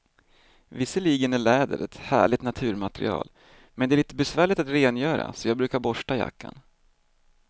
Visserligen är läder ett härligt naturmaterial, men det är lite besvärligt att rengöra, så jag brukar borsta jackan.